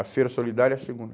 A Feira Solidária é a segunda.